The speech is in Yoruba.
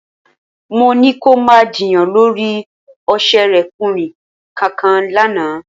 Mo ní kí o má jiyàn lórí òṣèrékùnrin kankan lánàá